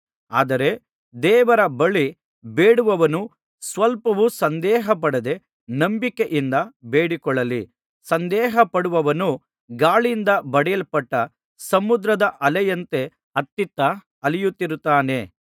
ಆದರೆ ದೇವರ ಬಳಿ ಬೇಡುವವನು ಸ್ವಲ್ಪವೂ ಸಂದೇಹಪಡದೆ ನಂಬಿಕೆಯಿಂದ ಬೇಡಿಕೊಳ್ಳಲಿ ಸಂದೇಹಪಡುವವನು ಗಾಳಿಯಿಂದ ಬಡಿಯಲ್ಪಟ್ಟ ಸಮುದ್ರದ ಅಲೆಯಂತೆ ಅತ್ತಿತ್ತ ಅಲೆಯುತ್ತಿರುತ್ತಾನೆ